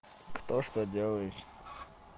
кто что делает